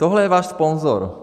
Tohle je váš sponzor.